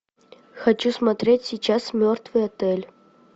хочу смотреть сейчас мертвый отель